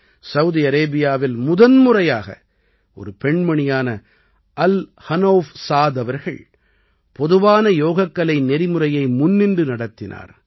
Saudi அரேபியாவில் முதன்முறையாக ஒரு பெண்மணியான அல் ஹனௌஃப் ஸாத் அவர்கள் பொதுவான யோகக்கலை நெறிமுறையை முன்னின்று நடத்தினார்